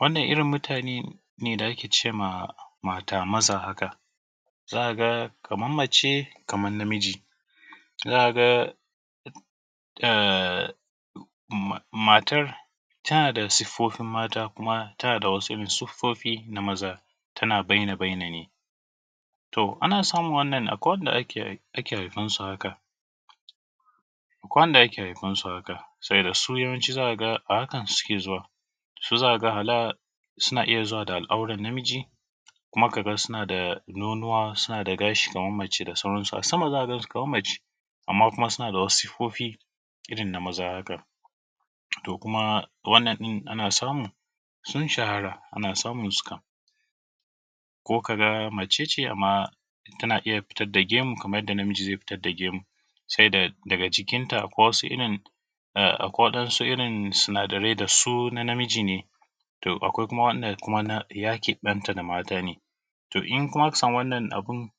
wannan irin mutane ne da ake ce ma mata-maza haka zaka ga kaman mace kaman namiji inda matar tana da siffofin mata kuma tana da wasu irin siffofi na maza tana baina-baina ne ana samun wannan akwai wanda ake haifan su haka akwai wanda ake haifan su haka sabida su yawanci zaka ga a hakan suke zuwa su zaka ga hala suna iya zuwa da al’aurar namiji kuma ka ga suna da nonuwa suna da gashi na mace da sauran su a sama zaka gan su kaman mace amman kuma suna da wasu siffofi irin na maza haka to kuma wannan ɗin ana samu sun shahara ana samun su kam ko ka ga mace ce ta iya fitar da gemu kamar yadda namiji zai fitar da gemu sai daga cikin ta akwai wasu irin akwai waɗan su irin su sinadarai da sun a namiji ne to akwai kuma wanda na yakin ɗanta na mata ne to in kuma aka samu irin wannan abun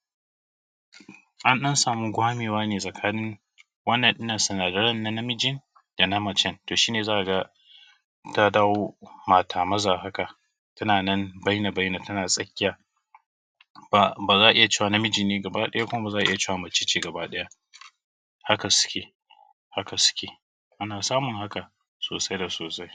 an ɗan samu gwamewa ne tsakanin waɗannan sinadaran na namijin dana macen to shi ne zaka ga ta dawo mata-maza haka tana nan baina-baina tsakiya baza a iya cewa namiji bane baki ɗaya kuma ba za a iya cewa mace ce ba baki ɗaya haka suke haka suke ana samun haka sosai da sosai